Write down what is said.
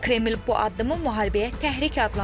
Kreml bu addımı müharibəyə təhrik adlandırıb.